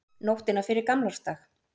Nóttina fyrir gamlársdag.